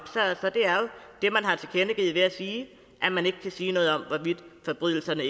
det er man har tilkendegivet ved at sige at man ikke kan sige noget om hvorvidt forbrydelserne